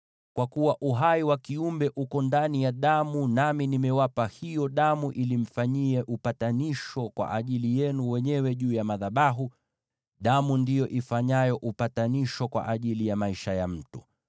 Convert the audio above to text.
Kwa kuwa uhai wa kiumbe uko ndani ya damu, nami nimewapa hiyo damu ili mfanyie upatanisho kwa ajili yenu wenyewe juu ya madhabahu; damu ndiyo ifanyayo upatanisho kwa ajili ya maisha ya mtu.